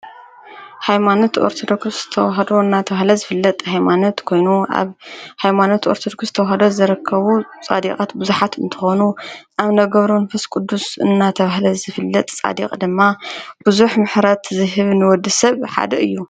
ኃይማኖት ወርትዶኩስ ተዉሃዶ እናተብህለ ዝፍለጥ ሕይማነት ኮይኑ ኣብ ኃይማኖት ወርተዶኩስ ተዉሃዶ ዘረከቡ ጻዴቐት ብዙኃት እንተኾኑ ኣብ ነገብሮ ንፈስ ቅዱስ እናተብህለ ዝፍለጥ ጻዴቕ ድማ ብዙኅ ምሕረት ዝህብ ንወዲ ሰብ ሓደ እዩ።